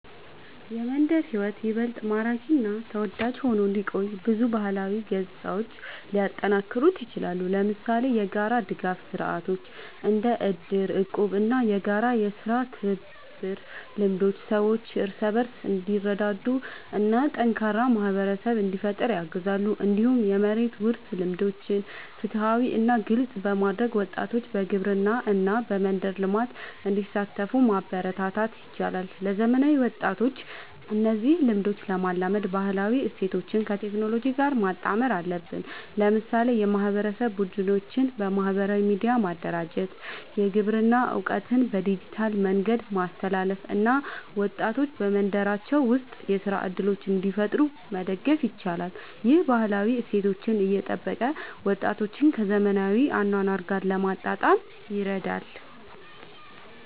የመንደር ሕይወት ይበልጥ ማራኪ እና ተወዳጅ ሆኖ እንዲቆይ ብዙ ባህላዊ ገጽታዎች ሊጠናከሩ ይችላሉ። ለምሳሌ የጋራ ድጋፍ ስርዓቶች እንደ እድር፣ እቁብ እና የጋራ የሥራ ትብብር ልምዶች ሰዎች እርስ በርስ እንዲረዳዱ እና ጠንካራ ማህበረሰብ እንዲፈጠር ያግዛሉ። እንዲሁም የመሬት ውርስ ልምዶችን ፍትሃዊ እና ግልጽ በማድረግ ወጣቶች በግብርና እና በመንደር ልማት እንዲሳተፉ ማበረታታት ይቻላል። ለዘመናዊ ወጣቶች እነዚህን ልምዶች ለማላመድ ባህላዊ እሴቶችን ከቴክኖሎጂ ጋር ማጣመር አለብን። ለምሳሌ የማህበረሰብ ቡድኖችን በማህበራዊ ሚዲያ ማደራጀት፣ የግብርና እውቀትን በዲጂታል መንገድ ማስተላለፍ እና ወጣቶች በመንደራቸው ውስጥ የሥራ እድሎችን እንዲፈጥሩ መደገፍ ይቻላል። ይህ ባህላዊ እሴቶችን እየጠበቀ ወጣቶችን ከዘመናዊ አኗኗር ጋር ለማጣጣም ይረዳል።